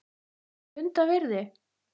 Punda virði??!?